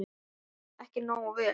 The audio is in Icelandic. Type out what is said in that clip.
Ekki nógu vel.